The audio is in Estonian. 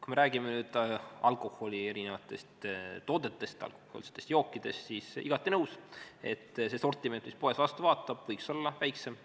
Kui me räägime erinevatest alkoholitoodetest, alkohoolsetest jookidest, siis olen igati nõus, et see sortiment, mis poest vastu vaatab, võiks olla väiksem.